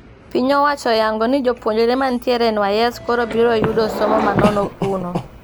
Piny owacho oyango ni jopuonjre matiere NYS koro biro yudo somo manono kuno